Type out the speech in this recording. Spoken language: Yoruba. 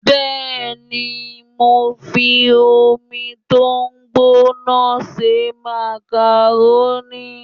Bẹ́ẹ̀ni, mo fi omi tó gbóná se màkàrónì